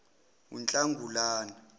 unhlangulana